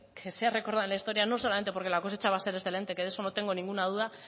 que sea recordada en la historia no solamente porque la cosecha va a ser excelente que de eso no tengo ninguna duda